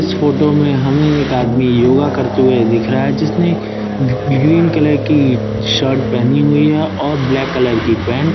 इस फोटो में हमें एक आदमी योगा करते हुए दिख रहा है जिसने गी ग्रीन कलर की शर्ट पहनी हुई है और ब्लैक कलर की पैंट ।